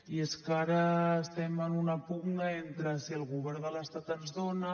i és que ara estem en una pugna entre si el govern de l’estat ens dona